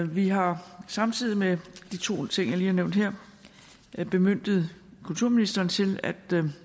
vi har samtidig med de to ting jeg lige har nævnt her bemyndiget kulturministeren til at